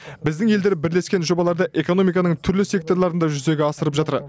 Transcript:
біздің елдер бірлескен жобаларды экономиканың түрлі секторларында жүзеге асырып жатыр